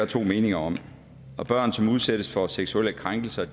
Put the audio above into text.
to meninger om børn som udsættes for seksuelle krænkelser